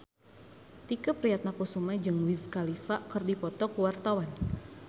Tike Priatnakusuma jeung Wiz Khalifa keur dipoto ku wartawan